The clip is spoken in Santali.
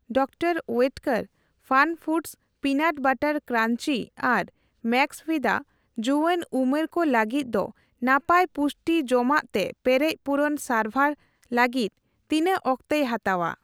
ᱰᱟᱠᱛᱟᱨ ᱳᱭᱮᱴᱠᱮᱨ ᱯᱷᱟᱱᱯᱷᱩᱰᱚᱥ ᱚᱤᱱᱟᱴ ᱵᱟᱨᱟᱴ ᱠᱨᱟᱧᱡᱤ ᱟᱨ ᱢᱮᱠᱥᱵᱷᱤᱫᱟ ᱡᱩᱭᱟᱹᱱ ᱩᱢᱮᱨ ᱠᱚ ᱞᱟᱹᱜᱤᱫ ᱫᱚ ᱱᱟᱯᱟᱭ ᱯᱩᱥᱴᱤ ᱡᱚᱢᱟᱜ ᱛᱮ ᱯᱮᱨᱮᱡ ᱯᱩᱨᱚᱱ ᱥᱟᱨᱵᱷᱟᱨ ᱞᱟᱹᱜᱤᱛ ᱛᱤᱱᱟᱹᱜ ᱚᱠᱛᱮᱭ ᱦᱟᱛᱟᱣᱟ ?